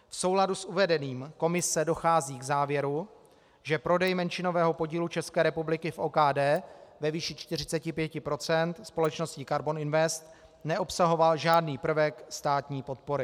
V souladu s uvedeným Komise dochází k závěru, že prodej menšinového podílu České republiky v OKD ve výši 45 % společnosti Karbon Invest neobsahoval žádný prvek státní podpory.